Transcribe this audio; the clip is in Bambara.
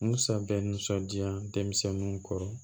Musa bɛ nisɔndiya denmisɛnninw kɔrɔ